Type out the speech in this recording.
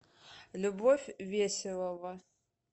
любовь веселова